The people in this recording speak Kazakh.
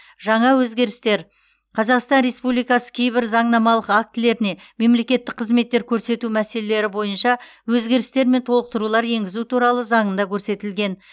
жаңа өзгерістер қазақстан республикасы кейбір заңнамалық актілеріне мемлекеттік қызметтер көрсету мәселелері бойынша өзгерістер мен толықтырулар енгізу туралы заңында көрсетілген